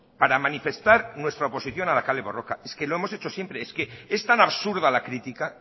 para manifestar nuestra oposición a la kale borroka es que lo hemos siempre es que es tan absurda la crítica